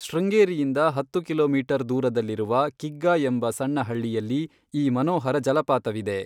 ಶೃಂಗೇರಿಯಿಂದ ಹತ್ತು ಕಿಲೋಮೀಟರ್ ದೂರದಲ್ಲಿರುವ ಕಿಗ್ಗಾ, ಎಂಬ ಸಣ್ಣ ಹಳ್ಳಿಯಲ್ಲಿ ಈ ಮನೋಹರ ಜಲಪಾತವಿದೆ.